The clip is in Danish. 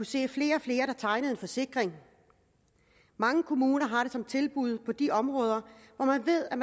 se at flere og flere tegner forsikring mange kommuner har det som et tilbud på de områder hvor man ved at